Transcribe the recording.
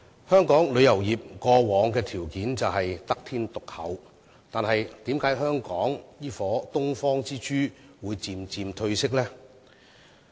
香港旅遊業以往的條件是得天獨厚的，但為甚麼這顆東方之珠會漸漸褪色？